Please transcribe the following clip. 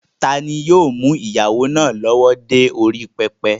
Tani yóò mú ìyàwó náà lọ́wọ́ dé orí pẹpẹ?